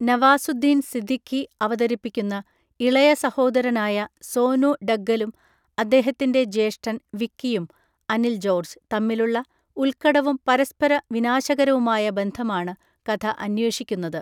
നവാസുദ്ദീൻ സിദ്ദിഖി അവതരിപ്പിക്കുന്ന ഇളയ സഹോദരനായ സോനു ഡഗ്ഗലും അദ്ദേഹത്തിൻ്റെ ജ്യേഷ്ഠൻ വിക്കിയും (അനിൽ ജോർജ്) തമ്മിലുള്ള ഉത്ക്കടവും പരസ്പര വിനാശകരവുമായ ബന്ധമാണ് കഥ അന്വേഷിക്കുന്നത്.